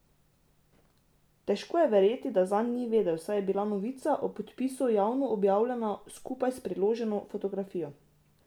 Težko je verjeti, da zanj ni vedel, saj je bila novica o podpisu javno objavljena skupaj s priloženo fotografijo.